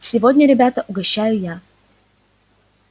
сегодня ребята угощаю я